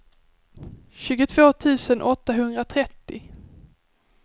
tjugotvå tusen åttahundratrettio